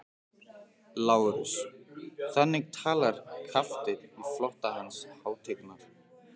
LÁRUS: Þannig talar kafteinn í flota Hans hátignar?